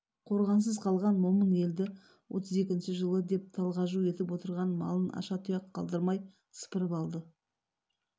қорғансыз қалған момын елді отыз екінші жылы деп талғажу етіп отырған малын аша тұяқ қалдырмай сыпырып алды